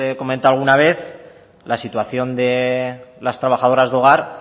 comentado alguna vez la situación de las trabajadoras del hogar